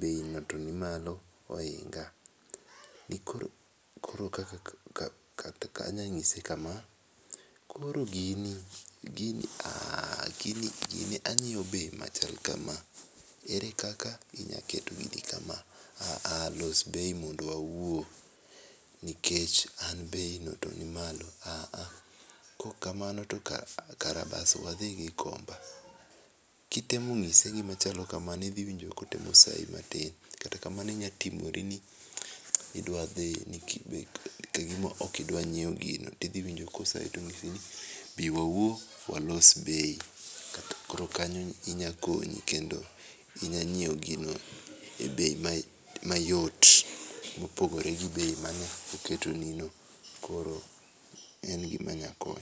bei no to nimalo kendo ohinga. Anyalo nyise kama, koro gini, gini anyiew bei machal kama, ere kaka inya keto gini kama, aaah, los bei mondo wawuo nikech an be i no toni malo, aaah, kaok kamano to we kara bas we adhi Gikomba. Kitemo nyise gima chalo kamano idhi winjo kotemo sai matin kata kamano inyalo timori ni idwa dhi ,kagima ok idwa nyiew gino tidhi winjo kosai tonyisi ni bii wawuo walos bei. Koro kanyo inya konyi kendo inya nyiew gino e bei mayot mopogore gi beii manyo ketoni no. koro en gima nya konyo.